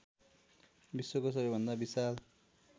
विश्वको सबैभन्दा विशाल